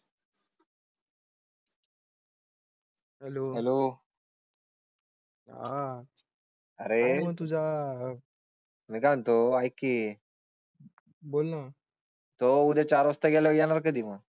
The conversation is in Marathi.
Hello hello. आह. अरे तुझ्या. मी काय म्हणतो ऐक कि, एकी बोल ना तो उद्या चार वाजता गेला येणार कधी मग?